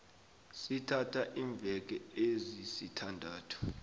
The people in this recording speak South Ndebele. sithatha iimveke ezisithandathu